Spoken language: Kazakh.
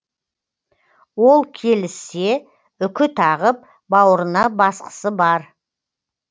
ол келіссе үкі тағып бауырына басқысы бар